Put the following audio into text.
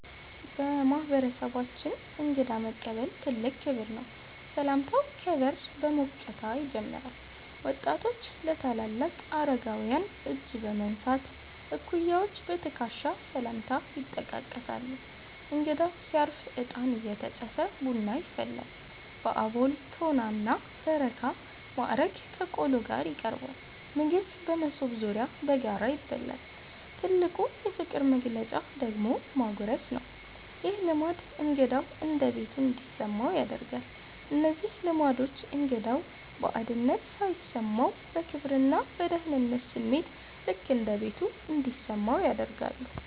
በማህበረሰባችን እንግዳ መቀበል ትልቅ ክብር ነው። ሰላምታው ከበር በሞቅታ ይጀምራል። ወጣቶች ለአምባገነን አረጋውያን እጅ በመንሳት፣ እኩያዎች በትከሻ ሰላምታ ይጠቃቀሳሉ። እንግዳው ሲያርፍ እጣን እየተጨሰ ቡና ይፈላል። በአቦል፣ ቶና እና በረካ ማዕረግ ከቆሎ ጋር ይቀርባል። ምግብ በመሶብ ዙሪያ በጋራ ይበላል። ትልቁ የፍቅር መግለጫ ደግሞ ማጉረስ ነው። ይህ ልማድ እንግዳው እንደ ቤቱ እንዲሰማው ያደርጋል። እነዚህ ልማዶች እንግዳው ባዕድነት ሳይሰማው፣ በክብርና በደህንነት ስሜት "ልክ እንደ ቤቱ" እንዲሰማው ያደርጋሉ።